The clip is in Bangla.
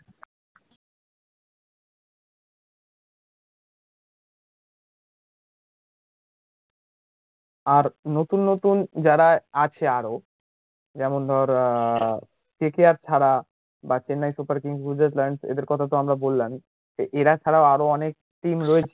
আর নতুন নতুন যার আছে আরো যেমন ধর আহ KKR ছাড়া বা চেন্নাই সুপার কিংস নিজের এদের কথা তো আমরা বললাম তো এরা ছাড়া ও আরো অনেক team রয়েছে